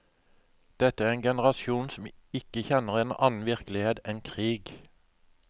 Dette er en generasjon som ikke kjenner en annen virkelighet enn krig.